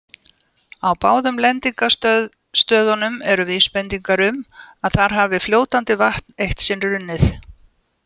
Á báðum lendingarstöðunum eru vísbendingar um að þar hafi fljótandi vatn eitt sinn runnið.